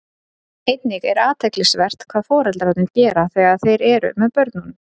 Einnig er athyglisvert hvað foreldrarnir gera þegar þeir eru með börnunum.